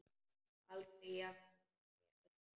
Aldrei jafnoki Öldu.